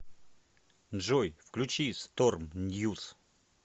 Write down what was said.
джой включи сторм ньюс